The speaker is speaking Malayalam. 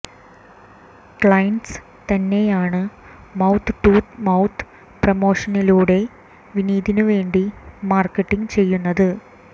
ക്ലൈന്റ്സ് തന്നെയാണ് മൌത്ത് ടു മൌത്ത് പ്രൊമോഷനിലൂടെ വിനീതിനു വേണ്ടി മാര്ക്കറ്റിംഗ് ചെയ്യുന്നതും